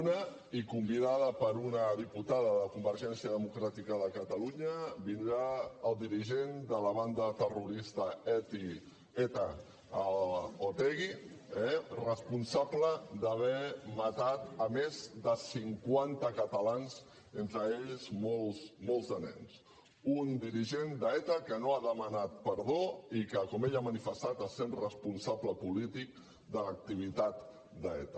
una i convidat per una diputada de convergència democràtica de catalunya vindrà el dirigent de la banda terrorista eta otegi responsable d’haver matat més de cinquanta catalans entre ells molts nens un dirigent d’eta que no ha demanat perdó i que com ell ha manifestat es sent responsable polític de l’activitat d’eta